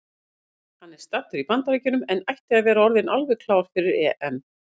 Hann er staddur í Bandaríkjunum en ætti að vera orðinn alveg klár fyrir EM.